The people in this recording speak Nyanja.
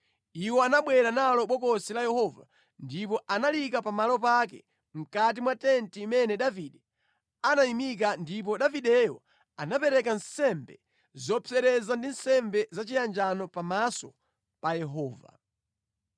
Iwo anabwera nalo Bokosi la Yehova ndipo analiyika pamalo pake mʼkati mwa tenti imene Davide anayimika ndipo Davideyo anapereka nsembe zopsereza ndi nsembe zachiyanjano pamaso pa Yehova.